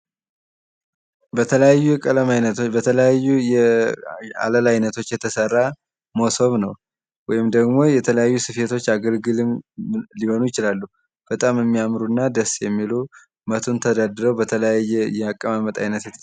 በተለያዩ የቀለም አይነቶች በተለያዩ የአለላ አይነቶች የተሰራ መሶብ ነው ወይም ደግሞ የተለያዩ ስፌቶች አገልግልም ሊሆኑ ይችላሉ። በጣም የሚያምሩ እና ደስ የሚሉ መቱን ተደርድረው በተለያየ የአቀማመጥ አይነት